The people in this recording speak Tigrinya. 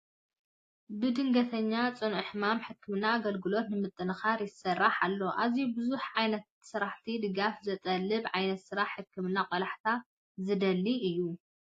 ንድንገተኛና ፅኑዕ ሕማማትን ሕክምናን ኣገልግሎት ንምጥንካር ይስራሕ ኣሎ። ኣዝዩ ብዙሓት ዓይነታት ስራሕትን ድጋፋት ዝጠልብ ዓይነት ስራሕ ሕክምና ቆላሕታ ዝደሊ እዩ ።